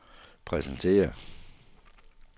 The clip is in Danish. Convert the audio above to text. præsenterer